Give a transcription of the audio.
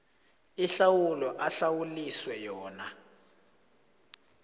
ihlawulo ahlawuliswe yona